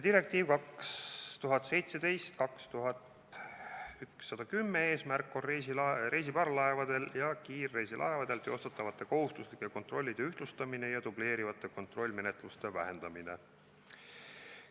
Direktiivi 2017/2110 eesmärk on reisiparvlaevadel ja kiirreisilaevadel teostatavate kohustuslike kontrollide ühtlustamine ja dubleerivate kontrollimenetluste vähendamine.